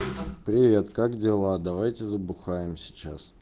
привет как дела давайте забухаем сейчас